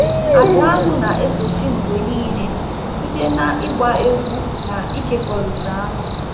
Aja anụ na-esochi mgbe niile site na ịgba egwu na ịkekọrịta anụ.